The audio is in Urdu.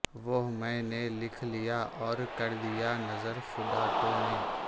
وہ میں نے لکھ لیا اور کر دیا نذر خدا تو نے